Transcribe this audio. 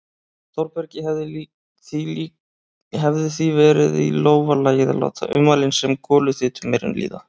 Þórbergi hefði því verið í lófa lagið að láta ummælin sem goluþyt um eyrun líða.